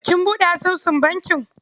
Kin buɗe asusun bankin?